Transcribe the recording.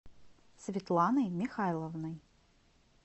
светланой михайловной